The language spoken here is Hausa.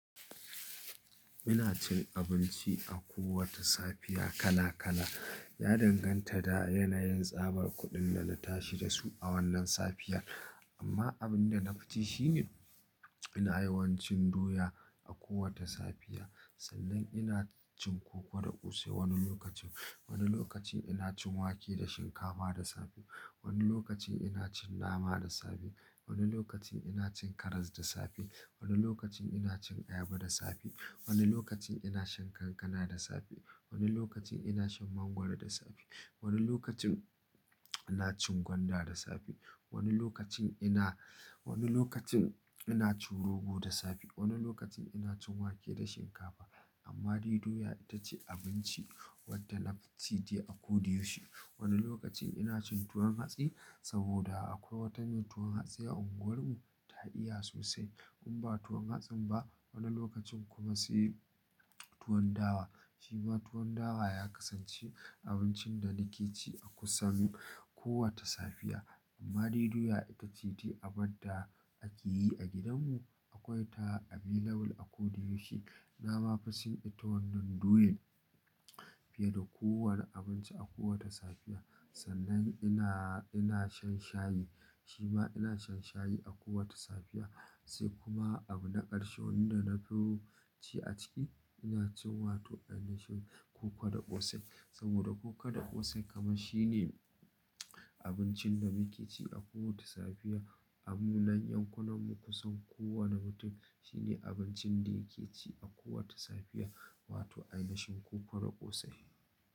Ina cin abinci a kowace safiya kala kala. Ya danganta da yanayin tsabar kuɗin da na tashi da su a wannan safiyar. Amma abin da na fi ci shine ina yawancin doya a kowata safiya. Sannan ina cin koko da ƙosai wani lokacin. Wani lokacin ina cin wake da shinkafa da safe. Wani lokacin ina cin nama da safe. Wani lokacin ina cin karas da safe. Wani lokacin ina cin ayaba da safe. Wani lokacin ina shan kankana da safe. Wani lokacin ina shan mangwaro da safe. Wani lokacin ina cin gwanda da safe. Wani lokacin ina, wani lokacin ina cin rogo da safe. Wani lokacin ina cin wake da shinkafa. Amma dai doya ita ce abinci wadda na fi ci dai a ko da yaushe. Wani lokacin ina cin tuwon hatsi saboda akwai wata mai tuwon hatsi a unguwarmu, ta iya sosai. In ba tuwon hatsin ba, wani lokacin kuma sai tuwon dawa. Shi ma tuwon dawa ya kasance abincin da nake ci a kusan kowata safiya. Amma dai doya ita ce dai abadda da ake yi a gidanmu. Akwai ta available a ko da yaushe. Na ma fi cin ita wannan doyan fiye da kowane abinci a kowace safiya. Sannan ina, ina shan shayi. Shi ma ina shan shayi a kowata safiya. Sai kuma abu na ƙarshe wanda na fi ci a ciki, ina cin wato ainihin koko da ƙosai. Saboda koko da ƙosai kaman shine abincin da muke ci a kowace safiya. Dan munan yankunan mu kusan kowane mutum shine abincin da yake ci a kowace safiya, wato ainihin koko da ƙosai.